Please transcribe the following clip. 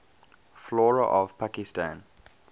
flora of pakistan